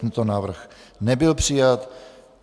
Tento návrh nebyl přijat.